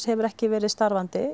hefur ekki verið starfandi